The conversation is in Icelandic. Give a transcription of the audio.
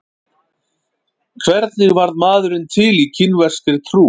Hvernig varð maðurinn til í kínverskri trú?